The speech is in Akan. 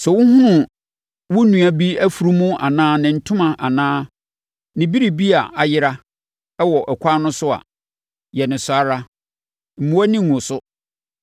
Sɛ wohunu wo nua bi afunumu anaa ne ntoma anaa ne biribi a ayera wɔ ɛkwan no so a, yɛ no saa ara. Mmu wʼani ngu so.